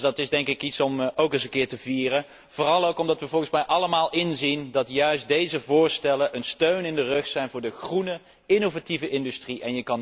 Dus dat is iets om te vieren, vooral ook omdat we volgens mij allemaal inzien dat juist deze voorstellen een steun in de rug zijn van de groene, innovatieve industrie.